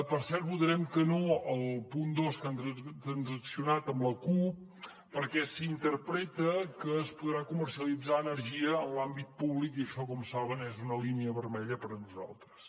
per cert votarem que no al punt dos que han transaccionat amb la cup perquè s’interpreta que es podrà comercialitzar energia en l’àmbit públic i això com saben és una línia vermella per a nosaltres